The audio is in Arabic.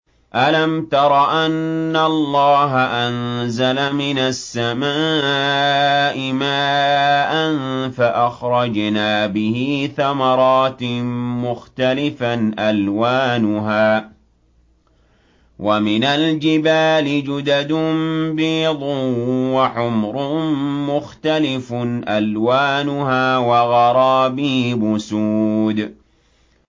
أَلَمْ تَرَ أَنَّ اللَّهَ أَنزَلَ مِنَ السَّمَاءِ مَاءً فَأَخْرَجْنَا بِهِ ثَمَرَاتٍ مُّخْتَلِفًا أَلْوَانُهَا ۚ وَمِنَ الْجِبَالِ جُدَدٌ بِيضٌ وَحُمْرٌ مُّخْتَلِفٌ أَلْوَانُهَا وَغَرَابِيبُ سُودٌ